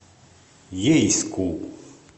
ейску